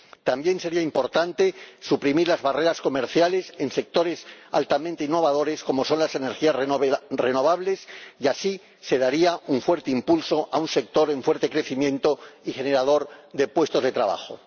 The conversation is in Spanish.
También sería importante suprimir las barreras comerciales en sectores altamente innovadores, como son las energías renovables, y así se daría un fuerte impulso a un sector en fuerte crecimiento y generador de puestos de trabajo.